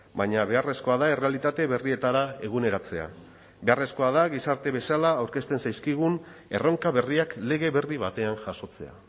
baina beharrezkoa da errealitate berrietara eguneratzea beharrezkoa da gizarte bezala aurkezten zaizkigun erronka berriak lege berri batean jasotzea